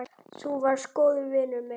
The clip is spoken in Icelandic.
Þú varst góður vinur minn.